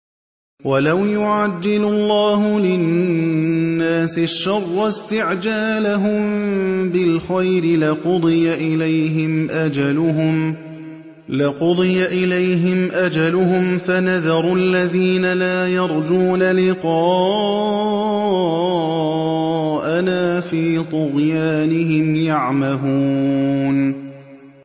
۞ وَلَوْ يُعَجِّلُ اللَّهُ لِلنَّاسِ الشَّرَّ اسْتِعْجَالَهُم بِالْخَيْرِ لَقُضِيَ إِلَيْهِمْ أَجَلُهُمْ ۖ فَنَذَرُ الَّذِينَ لَا يَرْجُونَ لِقَاءَنَا فِي طُغْيَانِهِمْ يَعْمَهُونَ